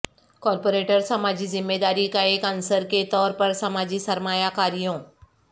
corporate سماجی ذمہ داری کا ایک عنصر کے طور پر سماجی سرمایہ کاریوں